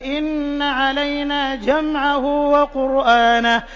إِنَّ عَلَيْنَا جَمْعَهُ وَقُرْآنَهُ